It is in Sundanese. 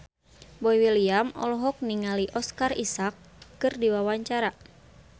Boy William olohok ningali Oscar Isaac keur diwawancara